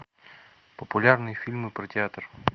популярные фильмы про театр